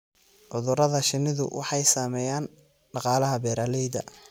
Cudurada shinnidu waxay saameeyaan dhaqaalaha beeralayda.